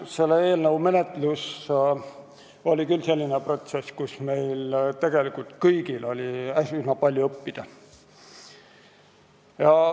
Selle eelnõu menetlus oli küll selline, millest meil kõigil oli üsna palju õppida.